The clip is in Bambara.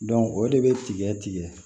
o de bɛ tigɛ tigɛ